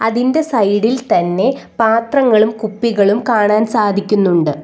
ഇതിൻ്റെ സൈഡിൽ തന്നെ പാത്രങ്ങളും കുപ്പികളും കാണാൻ സാധിക്കുന്നുണ്ട്.